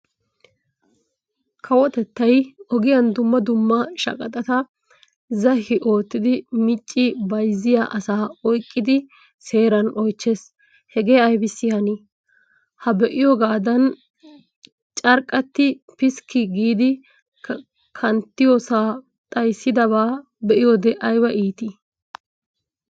Kawotettay ogiyaan dumma dumma shaqaxatta zahi oottidi micci bayzziya asaa oyqqidi seeran oychchees. Hegee aybiss hanii? Ha be'iyoogaadan carqqati piskki giidi kanttiyoosaa xayssidaabaa be'iyoode ayba iittii!